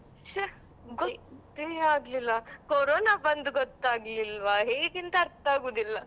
ಗೊತ್ತೇ ಆಗ್ಲಿಲ್ಲ ಕೊರೊನ ಬಂದು ಗೊತ್ತಾಗ್ಲಿಲ್ವಾ ಹೇಗೇಂತ ಅರ್ಥ ಆಗುದಿಲ್ಲ.